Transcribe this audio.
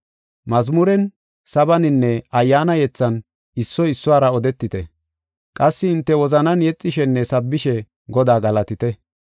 Mazmuren, sabaninne ayyaana yethan, issoy issuwara odetite. Qassi hinte wozanan yexishenne sabbishe Godaa galatite.